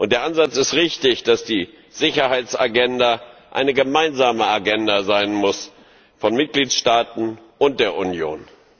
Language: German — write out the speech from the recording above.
Der Ansatz ist richtig, dass die Sicherheitsagenda eine gemeinsame Agenda sein muss von den Mitgliedstaaten und der Union.